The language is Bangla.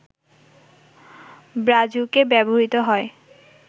ব্রাজুকা ব্যবহৃত হয়